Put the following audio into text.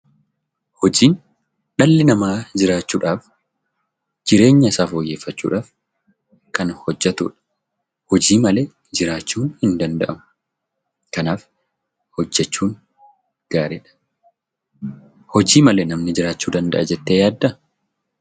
Hojiin dhalli namaa jiraachuudhaaf jireenya isaa foyyeeffachuuf kan hojjetuu dha. Hojii malee jiraachuun hin danda'amu. Kanaaf hojjechuun gaarii dha. Hojii malee namni jiraachuu danda'a jettee yaaddaa?